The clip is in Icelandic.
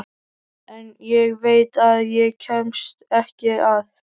En ég veit að ég kemst ekki að.